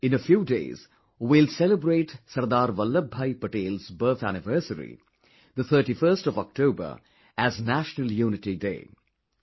In a few days we will celebrate Sardar Vallabh Bhai Patel's birth anniversary, the 31st of October as 'National Unity Day'